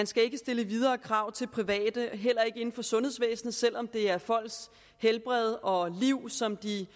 skal stille videre krav til private heller ikke inden for sundhedsvæsenet selv om det er folks helbred og liv som de